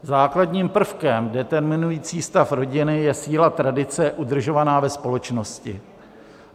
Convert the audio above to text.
Základním prvkem determinujícím stav rodiny je síla tradice udržovaná ve společnosti.